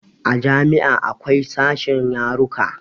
A jami'a akwai sashen yaruka